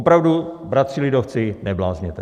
Opravdu, bratři lidovci, neblázněte.